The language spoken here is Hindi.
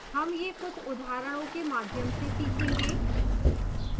हम यह कुछ उदाहरणों के माध्यम से सीखेंगे